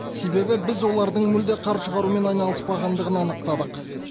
себебі біз олардың мүлде қар шығарумен айналыспағандығын анықтадық